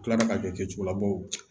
U kilara ka kɛ cogola baw